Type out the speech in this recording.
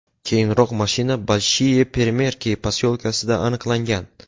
Keyinroq mashina Bolshiye Peremerki posyolkasida aniqlangan.